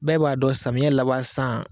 Bɛɛ b'a dɔn samiyɛ laban san